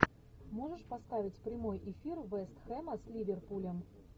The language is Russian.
можешь поставить прямой эфир вест хэма с ливерпулем